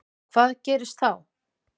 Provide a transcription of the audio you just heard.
Hvað gerist þá?